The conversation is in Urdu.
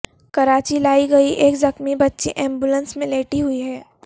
کراچی لائی گئی ایک زخمی بچی ایمبولینس میں لیٹی ہوئی ہے